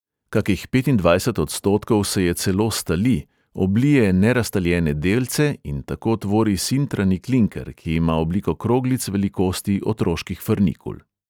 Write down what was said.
Kakih petindvajset odstotkov se je celo stali, oblije neraztaljene delce in tako tvori sintrani klinker, ki ima obliko kroglic velikosti otroških frnikul.